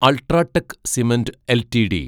UltraTech cement LTD